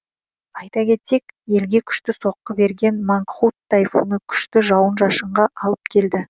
айта кетсек елге күшті соққы берген мангхут тайфуны күшті жауын шашынға алып келді